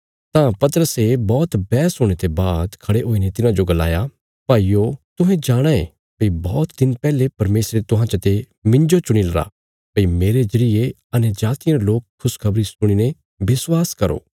तां पतरसे बौहत बैहस हुणे ते बाद खड़े हुईने तिन्हांजो गलाया भाईयो तुहें जाणाँ ये भई बौहत दिन पैहले परमेशरे तुहां चते मिन्जो चुणीलरा भई मेरे जरिये अन्यजातियां रे लोक खुशखबरी सुणीने विश्वास करो